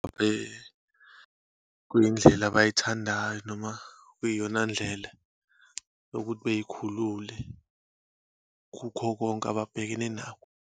Bekuyindlela abayithandayo, noma kuyiyona ndlela yokuthi beyikhulule kukho konke ababhekene nakho.